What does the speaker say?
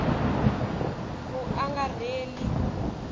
vuangarheli